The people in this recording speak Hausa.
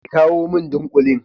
ki kawu min ɗinkulin.